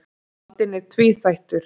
Vandinn er tvíþættur.